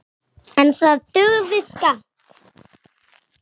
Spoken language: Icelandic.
En það dugði skammt.